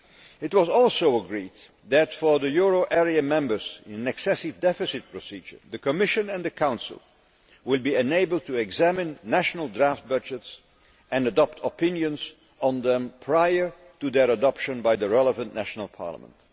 It was also agreed that for euro area members in an excessive deficit procedure, the Commission and the Council will be able to examine national draft budgets and adopt opinions on them prior to their adoption by the relevant national parliament.